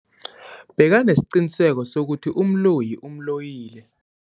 Bekanesiqiniseko sokuthi umloyi umloyile.